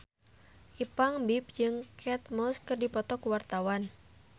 Ipank BIP jeung Kate Moss keur dipoto ku wartawan